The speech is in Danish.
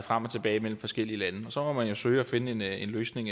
frem og tilbage mellem forskellige lande og så må man jo søge at finde en løsning